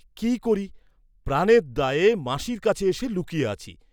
কি করি প্রাণের দায়ে মাসির কাছে এসে লুকিয়ে আছি।